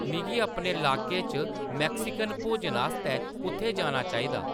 मिगी अपने लाके च मैक्सिकन भोजन आस्तै कुʼत्थै जाना चाहिदा